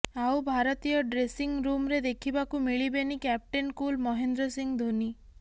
ଆଉ ଭାରତୀୟ ଡ୍ରେସିଂ ରୁମରେ ଦେଖିବାକୁ ମିଳିବେନି କ୍ୟାପଟେନ କୁଲ ମହେନ୍ଦ୍ର ସିଂ ଧୋନୀ